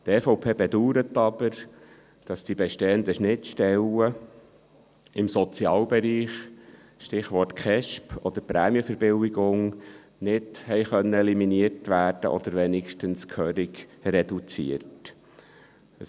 Die EVP bedauert aber, dass die bestehenden Schnittstellen im Sozialbereich – Stichwort Kindes- und Erwachsenenschutzbehörden (KESB) oder Prämienverbilligung – nicht eliminiert oder zumindest gehörig reduziert werden konnten.